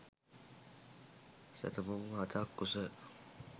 සැතපුම් හතක් උස